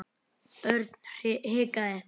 Örn hikaði.